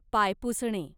पायपुसणे